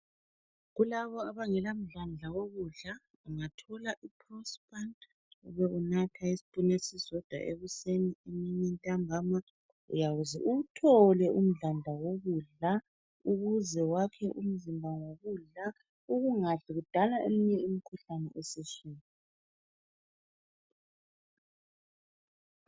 Kulabo abangela mdlandla wokudla ungathola iprospan Ube unatha isipunu esisodwa ekuseni, emini, ntambama uyaze uwuthole umdlandla wokudla ,ukuze wakhe umzimba ngokudla, ukungadli kudala eminye imikhuhlane esiswini